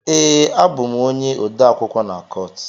Ee, abụ m onye odeakwụkwọ na court.